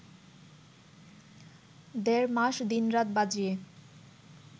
দেড় মাস দিনরাত বাজিয়ে